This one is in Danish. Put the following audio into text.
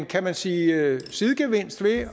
kan man sige en sidegevinst ved